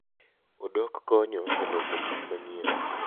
Odok konyo e loso gik manyien.